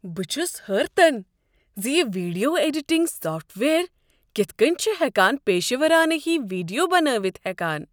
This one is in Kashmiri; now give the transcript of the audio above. بہٕ چھس حٲرتن زِ یہ ویڈیو ایڈیٹنگ سافٹ وییر کتھ کٔنۍ چھ ہؠکان پیشورانہٕ ہوۍ ویڈیو بنٲوتھ ہیكان۔